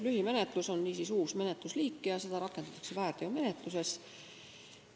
Lühimenetlus on niisiis uus menetlusliik ja seda rakendatakse väärteomenetluses.